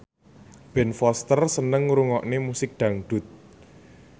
Ben Foster seneng ngrungokne musik dangdut